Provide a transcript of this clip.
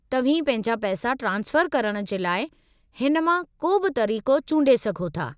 तव्हीं पंहिंजा पैसा ट्रांसफ़रु करण जे लाइ हिन मां को बि तरीक़ो चूंडे सघो था।